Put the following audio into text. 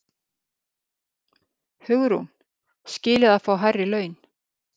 Hugrún: Skilið að fá hærri laun?